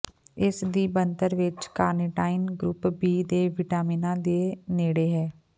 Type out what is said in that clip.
ਇਸ ਦੀ ਬਣਤਰ ਵਿੱਚ ਕਾਰਨੀਟਾਈਨ ਗਰੁੱਪ ਬੀ ਦੇ ਵਿਟਾਮਿਨਾਂ ਦੇ ਨੇੜੇ ਹੈ